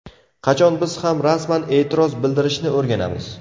Qachon biz ham rasman e’tiroz bildirishni o‘rganamiz?